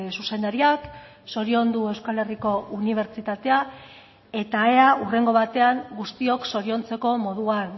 zuzendariak zoriondu euskal herriko unibertsitatea eta ea hurrengo batean guztiok zoriontzeko moduan